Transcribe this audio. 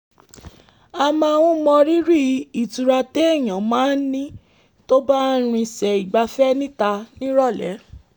a máa ń mọrírí ìtura téèyàn máa ń ní tó bá ń rinsẹ̀ ìgbafẹ́ níta nírọ̀lẹ́